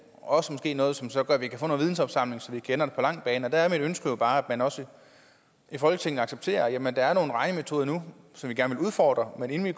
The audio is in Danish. også noget som så gør at vi kan få noget vidensopsamling og der er mit ønske bare at man også i folketinget accepterer at der er nogle regnemetoder nu som vi gerne vil udfordre men inden vi